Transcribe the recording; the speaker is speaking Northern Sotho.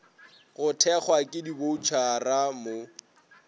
go thekgwa ke diboutšhara mo